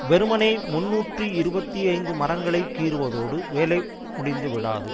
வெறுமனே முன்னூற்று இருபத்தி ஐந்து மரங்களை கீறுவதோடு வேலை முடிந்து விடாது